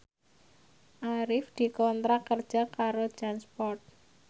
Arif dikontrak kerja karo Jansport